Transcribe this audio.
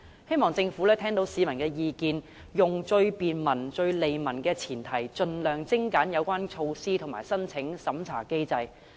希望政府會聆聽市民的意見，以便民、利民為前提，盡量精簡有關措施的申請及審查機制。